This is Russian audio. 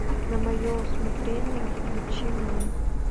на мое усмотрение включи мне